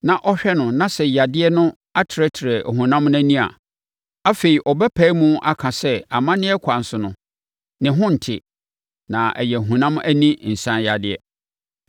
na ɔhwɛ no na sɛ yadeɛ no atrɛtrɛ ɔhonam no ani a, afei, ɔbɛpae mu aka sɛ amanneɛ kwan so no, ne ho nte na ɛyɛ ɔhonam ani nsaneyadeɛ.